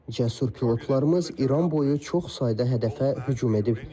Cəsur pilotlarımız İran boyu çox sayda hədəfə hücum edib.